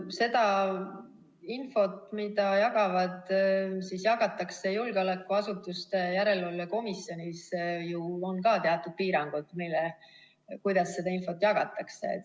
Sellel infol, mida jagatakse julgeolekuasutuste järelevalve komisjonis, on ju ka teatud piirangud, kuidas seda jagatakse.